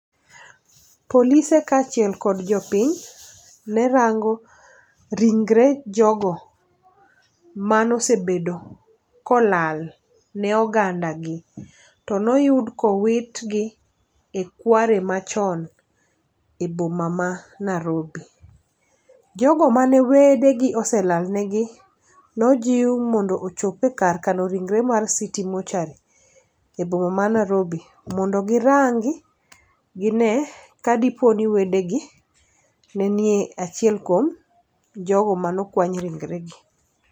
Polise kaachiel kod jopiny ne rango ringre jogo mano sebedo kolal ne oganda gi. To noyud kowitgi e kware machon e boma ma Narobi. Jogo mane wede gi oselal ne gi nojiw mondo ochop e kar kano ringre mar city mochuary e boma ma Narobi mondo girangi gine kadi po ni wedegi ne nie achiel kuom jogo manokwany ringre gi.